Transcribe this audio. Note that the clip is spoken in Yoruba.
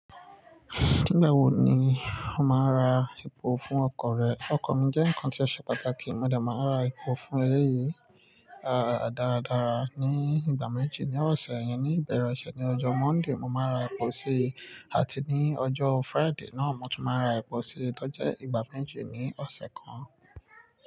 Nígbà wo ni o máa ra epo fún ọkọ̀ rẹ? Ọkọ̀ mi jẹ́ nǹkan tí ó ṣe pàtàkì, mo dà máa ra epo fún eré yìí, a, dáradára. Ní ìgbà méjì, ní ọ̀sẹ̀ 5yẹn. Ní ìbẹ̀rẹ̀ ọ̀sẹ̀, ní ọjọ́ Monday, mo máa ra epo síi àti ní ọjọ́ Friday náà mo tún máa ra epo sí i. Tọ jẹ́ ìgbà méjì ní ọ̀sẹ̀ kan.